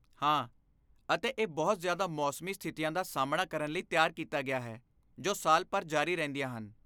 ਹਾਂ, ਅਤੇ ਇਹ ਬਹੁਤ ਜ਼ਿਆਦਾ ਮੌਸਮੀ ਸਥਿਤੀਆਂ ਦਾ ਸਾਮ੍ਹਣਾ ਕਰਨ ਲਈ ਤਿਆਰ ਕੀਤਾ ਗਿਆ ਹੈ ਜੋ ਸਾਲ ਭਰ ਜਾਰੀ ਰਹਿੰਦੀਆਂ ਹਨ।